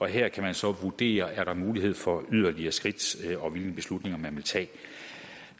her kan man så vurdere er mulighed for yderligere skridt og hvilke beslutninger man vil tage